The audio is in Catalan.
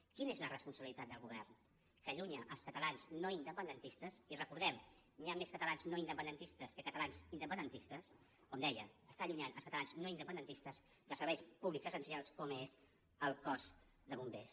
quina és la responsabilitat del govern que allunya els catalans no independentistes i recordem ho hi ha més catalans no independentistes que catalans independentistes com deia està allunyant els catalans no independentistes dels serveis públics essencials com és el cos de bombers